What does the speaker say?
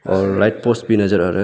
और light post भी नजर आ रहा --